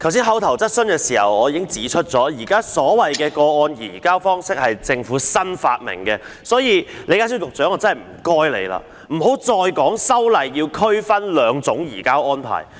剛才在口頭質詢時，我已經指出現時所謂的個案移交方式是政府新發明的，所以，李家超局長，拜託你不要再說修例要區分兩種移交安排。